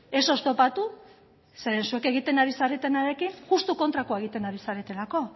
ez oztopatu zeren zuek egiten ari zaretenarekin justu kontrakoa egiten ari zaretelako